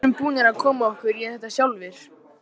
Við erum búnir að koma okkur í þetta sjálfir.